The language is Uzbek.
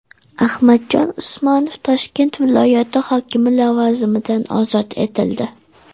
Ahmadjon Usmonov Toshkent viloyati hokimi lavozimidan ozod etildi.